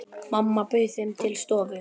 Mamma bauð þeim til stofu.